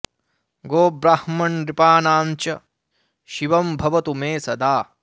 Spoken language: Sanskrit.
गो ब्राह्मण नृपाणां च शिवं भवतु मे सदा